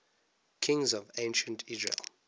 kings of ancient israel